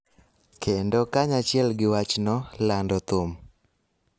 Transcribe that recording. kendo kanyachiel gi wachno, lando thum.